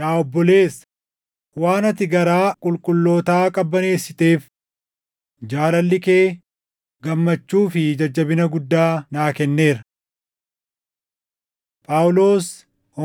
Yaa obboleessa, waan ati garaa qulqullootaa qabbaneessiteef jaalalli kee gammachuu fi jajjabina guddaa naa kenneera. Phaawulos